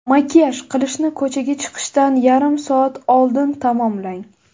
Makiyaj qilishni ko‘chaga chiqishdan yarim soat oldin tamomlang.